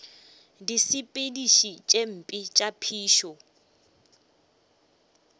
disepediši tše mpe tša phišo